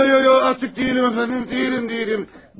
Ay, ay, ay, ay, artıq deyiləm, əfəndim, deyiləm, deyiləm.